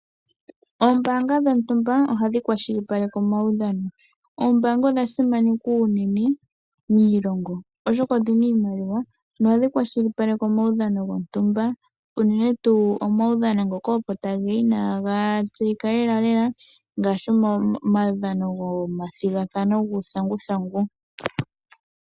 Oombanga dhontumba ohadhi kwashilipaleke omaudhano, oombanga odha simanekwa unene miilongo, oshoka odhina iimaliwa nohadhi kwashilipaleke omaudhano gontumba. Unene tuu omaudhano ngoka opo tage ya inaaga tseyika lelalela ngaashi omaudhano gomathigathano guuthanguthangu.